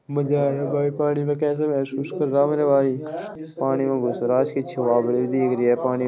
मजा आया भाई पानी में कैसे महसूस कर रहा मेरे भाई पानी मे घुस रहा है भी दिख रही है पानी --